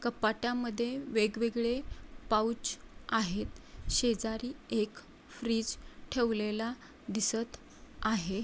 कपाटामध्ये वेगवेगळे पाउच आहेत शेजारी एक फ्रीज ठेवलेला दिसत आहे.